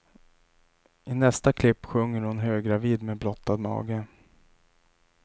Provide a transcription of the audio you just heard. I nästa klipp sjunger hon höggravid med blottad mage.